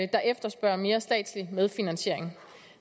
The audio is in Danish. der efterspørger mere statslig medfinansiering